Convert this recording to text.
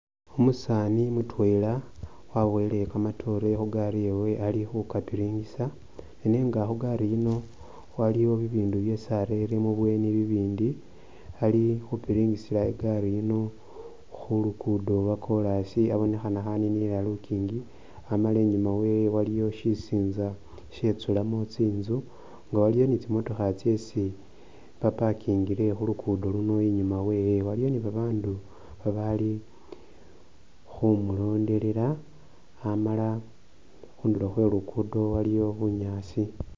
Umusani mutwela waboyele kamatoore khu gari yewe ali khu kapiringisa, nenga khugari yino waliyo bibindu byesi arere mu bweeni bindi, ali khupiringisila i'gari yino khu luguudo lwa koras obonekhana khaninilila lukingi wamala inyuma wewe waliyo shisinza ishetsulamo tsinzu nga waliwo ni tsi motoka tsesi ba pakingile khu luguudo luno. Inyuma wewe waliyo ni babaandu bali khumulondelela amala khundulo khwe Luguudo waliyo bunyaasi.